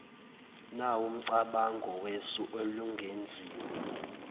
nawumcabango wesu elingenziwa